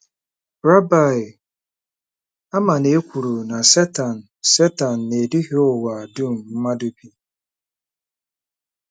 Rịba ama na e kwuru na Setan Setan “na-eduhie ụwa dum mmadụ bi.”